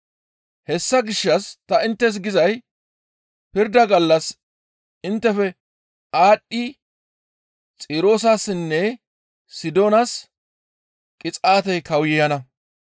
Hessa gishshas tani inttes gizay pirda gallas inttefe aadhdhi Xiroosessinne Sidoonas qixaatey kawuyana.